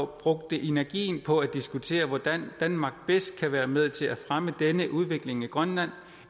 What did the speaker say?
brugte energien på at diskutere hvordan danmark bedst kan være med til at fremme denne udvikling i grønland